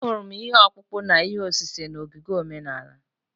Ahụrụ m ihe ọkpụkpụ na ihe osise n’ogige omenala.